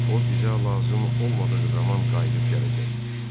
O bizə lazım olmadığı zaman qayıdıb gələcək.